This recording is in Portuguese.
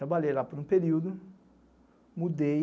Trabalhei lá por um período, mudei,